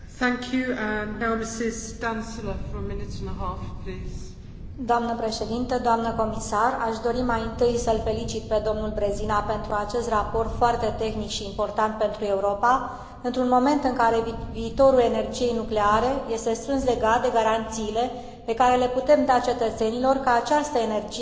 Aș dori mai întâi să îl felicit pe dl Březina pentru acest raport foarte tehnic și important pentru Europa, într un moment în care viitorul energiei nucleare este strâns legat de garanțiile pe care le putem da cetățenilor că această energie este sigură pentru toți locuitorii, indiferent dacă țara lor deține sau nu asemenea centrale.